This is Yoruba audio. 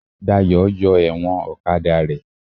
Dayọ̀ yọ ẹ̀wọ̀n ọ̀kadà rẹ̀